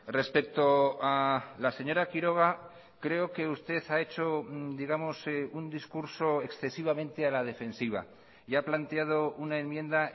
respecto a la señora quiroga creo que usted ha hecho digamos un discurso excesivamente a la defensiva y ha planteado una enmienda